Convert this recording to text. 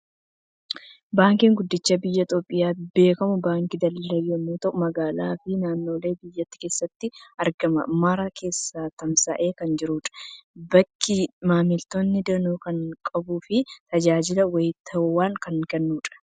Baankiin guddichi biyya Itoophiyaatti beekamu Baankii Daldalaa yommuu ta'u, magaalaa fi naannolee biyyattii keessatti argaman mara keessa tamsa'ee kan jirudha. Baankiin maamiltoota danuu kan qabuu fi tajaajila wayitaawaa kan kennudha.